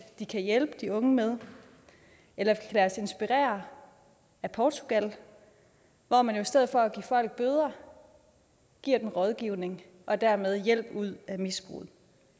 kan de hjælpe de unge med eller lad os inspirere af portugal hvor man i stedet for at give folk bøder giver dem rådgivning og dermed hjælp ud af misbruget